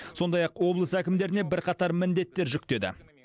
сондай ақ облыс әкімдеріне бірқатар міндеттер жүктеді